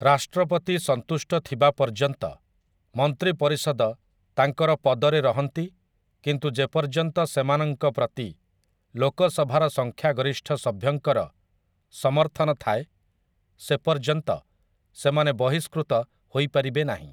ରାଷ୍ଟ୍ରପତି ସନ୍ତୁଷ୍ଟଥିବା ପର୍ଯ୍ୟନ୍ତ ମନ୍ତ୍ରୀପରିଷଦ ତାଙ୍କର ପଦରେ ରହନ୍ତି କିନ୍ତୁ ଯେପର୍ଯ୍ୟନ୍ତ ସେମାନଙ୍କ ପ୍ରତି ଲୋକସଭାର ସଂଖ୍ୟାଗରିଷ୍ଠ ସଭ୍ୟଙ୍କର ସମର୍ଥନ ଥାଏ ସେ ପର୍ଯ୍ୟନ୍ତ ସେମାନେ ବହିଷ୍କୃତ ହୋଇପାରିବେ ନାହିଁ ।